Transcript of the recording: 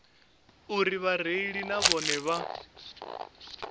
uri vhareili na vhone vha